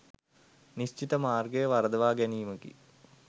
නිශ්චිත මාර්ගය වරදවා ගැනීමකි.